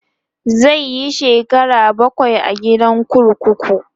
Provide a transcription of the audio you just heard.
zai Yi shekara bakwai a gidan kurkuku